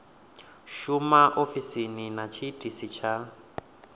shuma ofisini na tshiitisi tsha